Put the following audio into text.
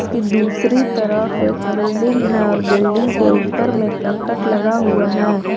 की दूसरी तरफ एक बिल्डिंग है और बिल्डिंग के ऊपर मे करकट लगा हुआ है।